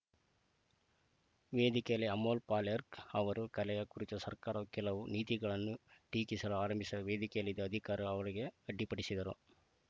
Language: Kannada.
ವೇದಿಕೆಯಲ್ಲಿ ಅಮೋಲ್‌ ಪಾಲೇರ್ಕ್ ಅವರು ಕಲೆಯ ಕುರಿತ ಸರ್ಕಾರ ಕೆಲವು ನೀತಿಗಳನ್ನು ಟೀಕಿಸಲು ಆರಂಭಿಸಿದಾಗ ವೇದಿಕೆಯಲ್ಲಿದ್ದ ಅಧಿಕಾರಿ ಅವರಿಗೆ ಅಡ್ಡಿಪಡಿಸಿದರು